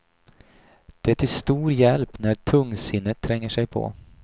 Det är till stor hjälp när tungsinnet tränger sig på.